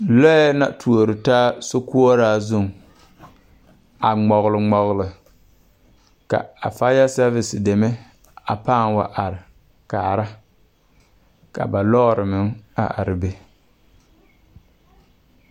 Lɔɛ na tuoretaa sokoɔraa zuŋ a ngmɔgle ngmɔgle ka a faya sɛɛvis deme a pãã wa are kaara ka ba lɔɔmeŋ a are be.